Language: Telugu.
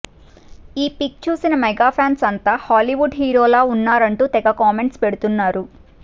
ఈ పిక్ చూసిన మెగా ఫ్యాన్స్ అంత హాలీవుడ్ హీరోల్లా ఉన్నారంటూ తెగ కామెంట్స్ పెడుతున్నారు